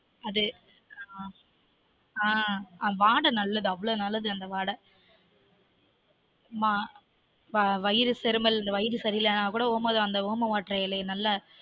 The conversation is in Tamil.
அது ஆஹ் அது வாடை நல்லது அவ்ளொ நல்லது அந்த வாடை ஆமா வயிறு செருமல் வயிறு சரி இல்லனா கூட ஒமவள்ளி அந்த oma water இலைய நல்ல